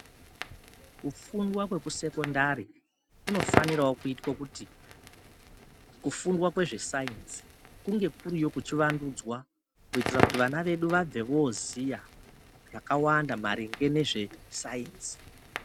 Kufundwa kwekusekondari kunofaniravo kuitwe kuti kufundwa kwezvesainzi kunge kuriyo kuchivandudzwa. Kuitira kuti vana vedu vabve voziya zvakawanda maringe nezvesainzi.